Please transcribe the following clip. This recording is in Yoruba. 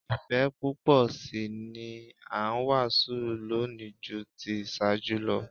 Ìfẹ́ púpọ̀ sí i ni a ń wàásù lónìí ju ti ìṣáájú lọ